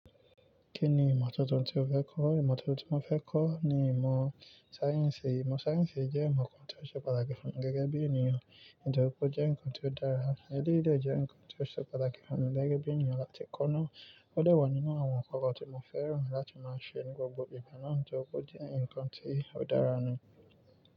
Kí ni ìmọ́ tuntun tí o fẹ́ kọ́? Ìmọ́ tuntun tí mo fẹ́ kọ́ ni ìmọ̀ sáyẹ́ǹsì. Ìmọ̀ sáyẹ́ǹsì jẹ́ ìmọ̀ kan tí ó ṣe pàtàkì fún mi gẹ́gẹ́ bí ènìyàn. Mo dẹ wo pe o je ǹkan tí ó dára. Eléyìí dẹ̀ jẹ́ ǹkan tí ó ṣe pàtàkì fún mi gẹ́gẹ́ bí ènìyàn láti kọ́ná. Ó dà wọ̀ nínú àwọn ǹkan kan tí mo fẹ́ràn láti máa ṣe ní gbogbo ìgbà náà tí ọkọ̀ jẹ́ ǹkan tí ó dára ni.